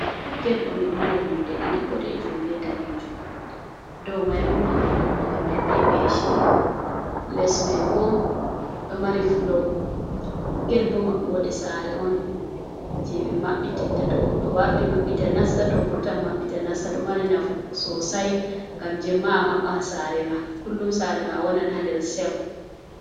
Ged on ɗo mari nonde ɗiɗi boɗejum be danejum, dou mai bo mahol on mahol mai be peshi, les mai bo ɗo mari flow, ged bo maɓɓode sare on je ɓe maɓɓi titta to goɗɗo warti maɓɓita nasta, to vurtan maɓɓita nasta, do mari nafu sosai, ngam jemmaa maɓɓan sare ma, kullum sare ma wonan ha nder sef.